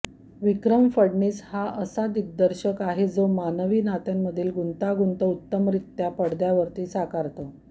विक्रम फडणीस हा असा दिर्ग्दशक आहे जो मानवी नात्यांमधली गुंतागुंत उत्तमरित्या पडद्यावरती साकारतो